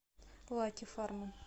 лаки фарма